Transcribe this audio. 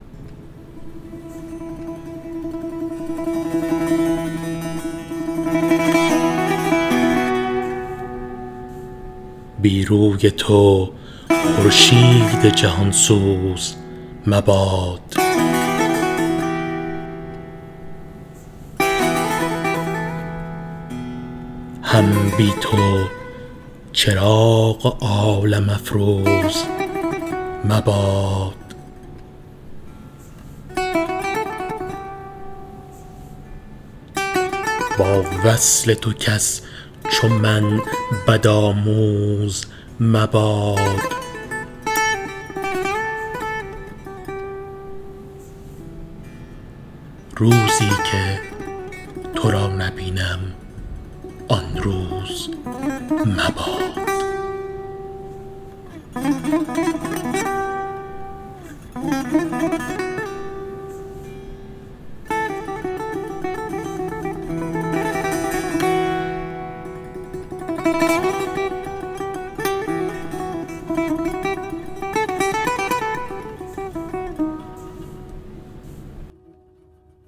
بی روی تو خورشید جهان سوز مباد هم بی تو چراغ عالم افروز مباد با وصل تو کس چو من بد آموز مباد روزی که تو را نبینم آن روز مباد